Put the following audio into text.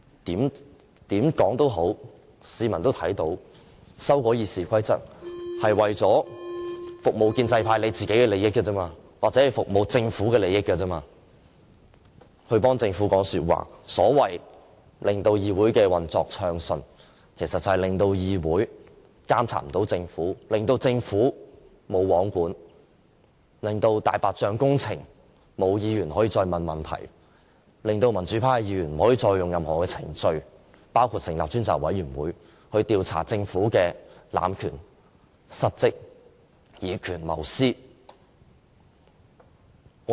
無論如何，市民看到修改《議事規則》是為了服務建制派的利益，或者為了服務政府的利益，為政府說話，所謂令議會運作暢順，其實就是令議會無法監察政府，令政府"無皇管"，令議員不能再就"大白象"工程提出質詢，令民主派議員不可以再用任何程序，包括成立專責委員會去調查政府濫權、失職和以權謀私的行為。